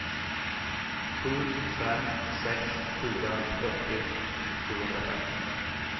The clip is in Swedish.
sju fem sex fyra fyrtio sjuhundrafem